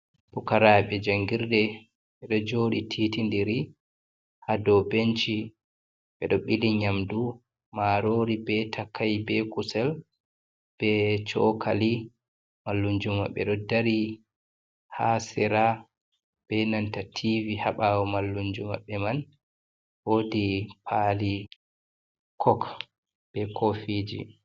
Pukarabe jangirde ɓeɗo joɗi titi diri ha dou benci, ɓeɗo ɓili nyamdu marori, be takai, be kusel, be cokali, mallumjo maɓɓe ɗo dari ha sera be nanta tivi ha ɓawo mallumjo maɓɓe man wodi pali kok be kofiji.